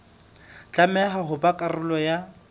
tlameha ho ba karolo ya